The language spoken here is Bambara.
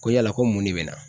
Ko yala ko mun de bɛ na?